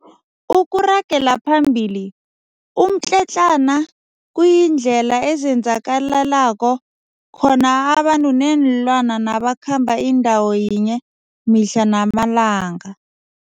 Ukuragela phambili, umtletlana kuyindlela ezenzakalelako khona abantu neenlwana nabakhamba indawo yinye mihla namalanga.